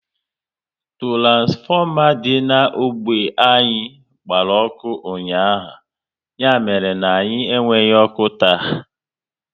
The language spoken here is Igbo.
Turansfoma dị na ógbè anyị gbara ọkụ ụnyaahụ, ya mere na anyị enweghị ọkụ taa